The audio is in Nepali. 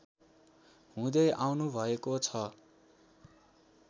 हुँदै आउनुभएको छ